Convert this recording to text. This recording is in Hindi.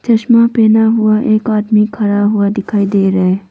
चश्मा पहना हुआ एक आदमी खड़ा हुआ दिखाई दे रहा है।